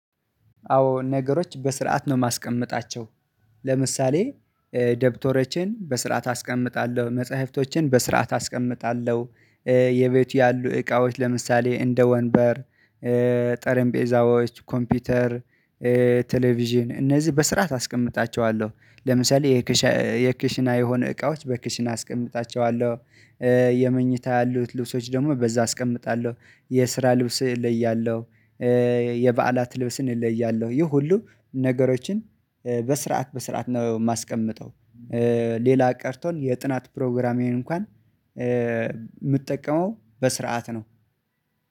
አዎ ነገሮች በስርዓት ነው የማስቀምጣቸው። ለምሳሌ ደብተሮችን በስርዓት አስቀምጣለሁ መጽሐፍቶችን በስርዓት አስቀምጣለሁ። የቤቱ ያሉ እቃዎች ለምሳሌ እንደ ወንበር ጠረንጴዛዎች ኮምፒውተር ቴሌቪዥን እነዚህ በስርዓት አስቀምጣቸዋለሁ። ለምሳሌ የክሽና የሆኑ እቃዎች በክሽና አስቀምጣቸዋለሁ። የመኝታ ያሉት ልብሶች ደግሞ በዛ አስቀምጣለሁ የስራ ልብስ እለያለሁ። የበዓላት ልብስን እለያለሁ ይህ ሁሉ ነገሮችን በስርዓት በስርዓት ነው የማስቀምጠው። ሌላ ቀርቶን የጥናት ፕሮግራሜን እንኳን ምጠቀመው በስርዓት ነው